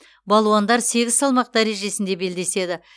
балуандар сегіз салмақ дәрежесінде белдеседі